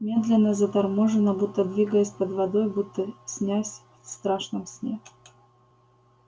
медленно заторможенно будто двигаясь под водой будто снясь в страшном сне